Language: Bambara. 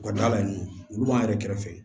U ka da la olu b'an yɛrɛ kɛrɛfɛ